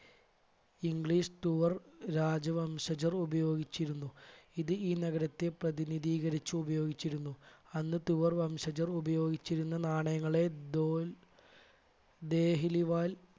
english തുവർ രാജവംശചർ ഉപയോഗിച്ചിരുന്നു ഇത് ഈ നഗരത്തെ പ്രതിനിധീകരിച്ച് ഉപയോഗിച്ചിരുന്നു. അന്ന് തുവർ വംശജർ ഉപയോഗിച്ചിരുന്ന നാണയങ്ങളെ ദോൽ ദേഹിലി വാൽ